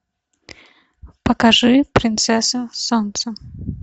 покажи принцесса солнца